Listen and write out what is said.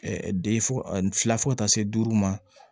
de fɔ ka taa se duuru ma